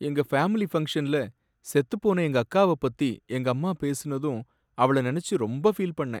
எங்க ஃபேமிலி ஃபங்க்ஷன்ல செத்துப்போன எங்கக்காவ பத்தி எங்கம்மா பேசினதும் அவள நனைச்சி ரொம்ப ஃபீல் பண்ணேன்.